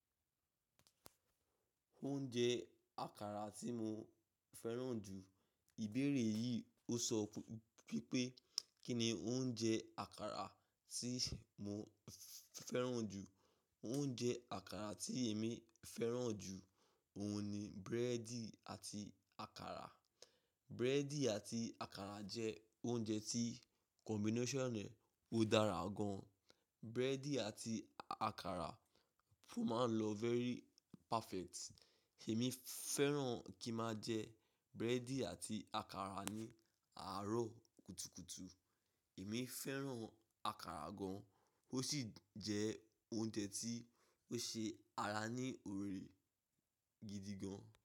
Oúnjẹ àkàrà tí mo fẹ́ràn jù. Ìbéèrè yìí ò sọ wípé kín ni oúnjẹ àkàrà tí mo fẹ́ràn jù. Oúnjẹ àkàrà tí èmi fẹ́ràn jù òun ni búrẹ́dì àti àkàrà. Búrẹ́dì àti àkàrà jẹ́ oúnjẹ tí combination rẹ̀ ó dára gan. Búrẹ́dì àti àkàrà ó máa ń lọ very perfect. Èmi fẹ́ràn ki ń máa jẹ búrẹ́dì àti àkàrà ní àárọ̀ kùtùkùtù. Èmi fẹ́ràn àkàrà gan, ó sì jẹ oúnjẹ tí ó ṣe ara ní oore gidi gan.